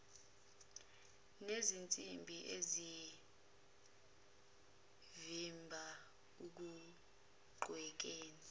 nezinsimbi ezivimba ukugqekeza